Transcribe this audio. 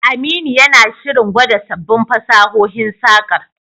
Aminu yana shirin gwada sabbin fasahohin saƙar.